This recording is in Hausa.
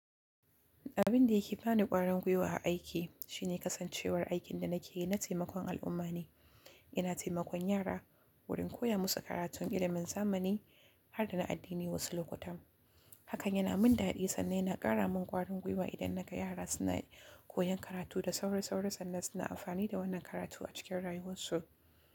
Abin da yake bani ƙwarin gwiwa a aiki shine kasancewar aikin da nake yi na taimakon al'umma ne. Ina taimakon yara wurin koya musu karatun ilimin zamani har da na addini wasu lokutan. Hakan yana min daɗi sannan yana ƙara min ƙwarin gwiwa idan naga yara suna koyan karatu da osaurasaura sannan suna amfani da wannan karatu a cikin rayuwarsu.